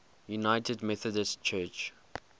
united methodist church